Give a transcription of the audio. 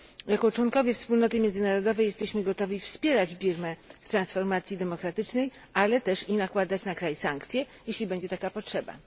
Jako członkowie wspólnoty międzynarodowej jesteśmy gotowi wspierać Birmę w transformacji demokratycznej, ale też i nakładać na kraj sankcje, jeśli będzie taka potrzeba.